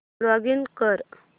login कर